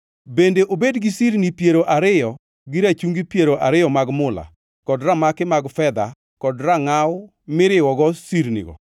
bende obed gi sirni piero ariyo gi rachungi piero ariyo mag mula kod ramaki mag fedha kod rangʼaw miriwogo sirnigo.